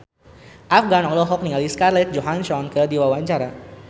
Afgan olohok ningali Scarlett Johansson keur diwawancara